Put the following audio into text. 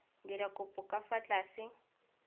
dira kopo ka fa tlase